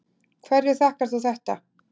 Hverju þakkar þú þetta?